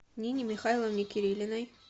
нине михайловне кирилиной